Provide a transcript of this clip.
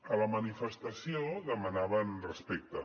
a la manifestació demanaven respecte